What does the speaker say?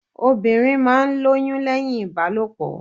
Obìnrin máa ń lóyún lẹ́hìn Ìbálòpọ̀.